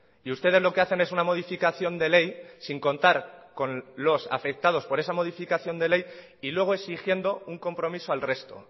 y ustedes lo que hacen es una modificación de ley sin contar con los afectados por esa modificación de ley y luego exigiendo un compromiso al resto